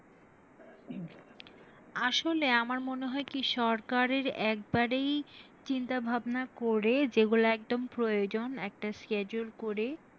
আসলে আমার মনে কি সরকারের একবরেই চিন্তা ভাবনা করে যেগুলা একদম প্রয়োজন একটা schedule করে